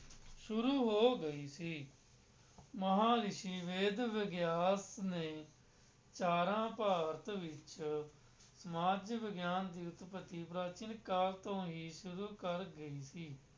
ਸ਼ੁਰੂ ਹੋ ਗਈ ਸੀ, ਮਹਾਂਰਿਸ਼ੀ ਵੇਦ ਵਿਆਸ ਨੇ ਚਾਰਾਂਂ ਭਾਰਤ ਵਿੱਚ ਸਮਾਜ ਵਿਗਿਆਨ ਦੀ ਉੱਤਪਤੀ ਪ੍ਰਾਚੀਨ ਕਾਲ ਤੋਂ ਹੀ ਸ਼ੁਰੂ ਕਰ ਗਈ ਸੀ।